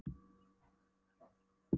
SÓLRÚN: Ef það væru nú bara trúarbrögðin!